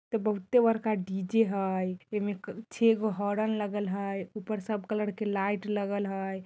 इते बहुते बड़का डी.जे. हेय इमे छे गो हॉर्न लगल हेय ऊपर सब कलर के लाईट लगल हेय।